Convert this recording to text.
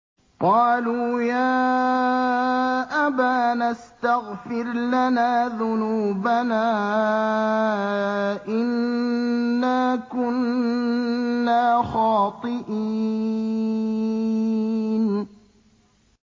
قَالُوا يَا أَبَانَا اسْتَغْفِرْ لَنَا ذُنُوبَنَا إِنَّا كُنَّا خَاطِئِينَ